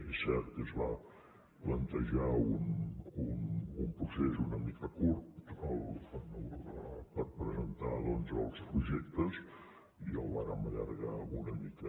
és cert que es va plantejar un procés una mica curt per presentar doncs els projectes i el vàrem allargar una mica